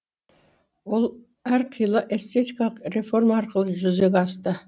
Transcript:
ол әр қилы эстетикалық реформа арқылы жүзеге асты